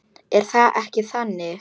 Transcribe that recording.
Er það ekki þannig?